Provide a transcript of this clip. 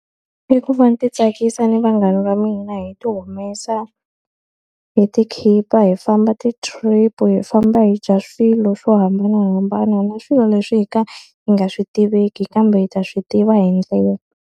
I ku va ni titsakisa ni vanghana va mina hi ti humesa, hi ti khipha, hi famba ti-trip, hi famba hi dya swilo swo hambanahambana na swilo leswi hi ka hi nga swi tiveki kambe hi ta swi tiva hi ndlela.